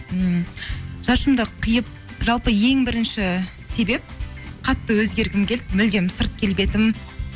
ммм шашымды қиып жалпы ең бірінші себеп қатты өзгергім келді мүлдем сырт келбетім